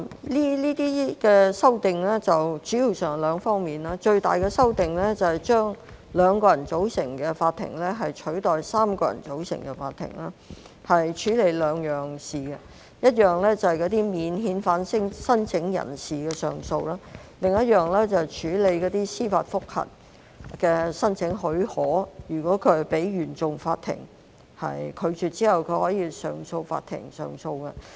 這些修訂主要包括兩方面，最大的修訂是將2人組成的法庭取代3人組成的法庭處理兩項事務：一項是免遣返聲請人士的上訴，另一項是處理司法覆核的申請許可，如果申請被原訟法庭拒絕，可以到上訴法庭上訴。